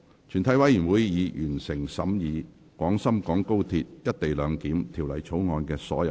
全體委員會已完成審議《廣深港高鐵條例草案》的所有程序。